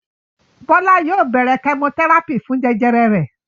Bọlá yóò bẹ̀rẹ̀ kẹmotẹ́rápì fún jẹjẹrẹ rẹ̀.